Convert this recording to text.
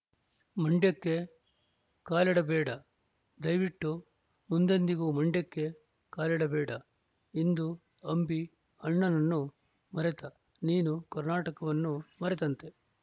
ಮಂಡ್ಯಕ್ಕೆ ಕಾಲಿಡಬೇಡ ದಯವಿಟ್ಟು ಮುಂದೆಂದಿಗೂ ಮಂಡ್ಯಕ್ಕೆ ಕಾಲಿಡಬೇಡ ಇಂದು ಅಂಬಿ ಅಣ್ಣನನ್ನು ಮರೆತ ನೀನು ಕರ್ನಾಟಕವನ್ನು ಮರೆತಂತೆ